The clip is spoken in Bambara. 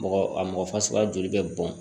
Mɔgɔ a mɔgɔ fasuguya joli bɛ bɔn